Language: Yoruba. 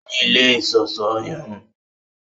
O ní ilé iṣọṣọ irun